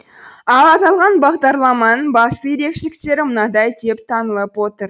ал аталған бағдарламаның басты ерекшеліктері мынадай деп танылып отыр